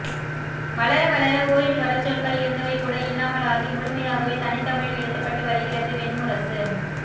வளரவளர ஓரிரு வடசொற்கள் இருந்தவைகூட இல்லாமலாகி முழுமையாகவே தனித்தமிழில் எழுதப்பட்டு வருகிறது வெண்முரசு